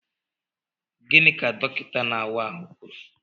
Gịnị ka dọkịta na-awa ahụ kwuru?